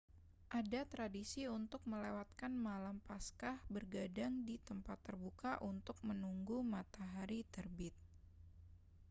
ada tradisi untuk melewatkan malam paskah bergadang di tempat terbuka untuk menunggu matahari terbit